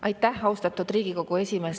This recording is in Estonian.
Aitäh, austatud Riigikogu esimees!